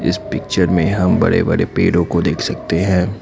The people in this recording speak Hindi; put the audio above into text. इस पिक्चर में हम बड़े बड़े पेड़ों को देख सकते हैं।